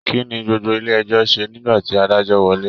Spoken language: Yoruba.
Kínní gbogbo ilé ẹjọ ṣe nígbà tí adájọ wọlé?